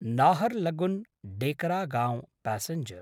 Naharlagun Dekargaon passenger